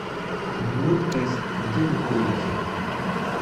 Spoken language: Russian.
амур тест где находится